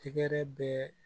Tɛgɛrɛ bɛɛ